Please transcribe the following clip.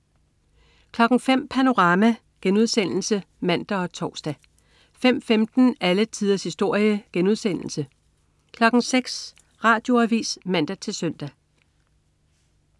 05.00 Panorama* (man og tors) 05.15 Alle tiders historie* 06.00 Radioavis (man-søn)